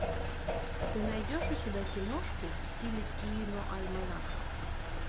ты найдешь у себя киношку в стиле киноальманаха